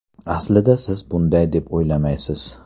Aslida siz bunday deb o‘ylamaysiz.